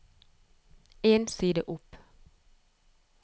En side opp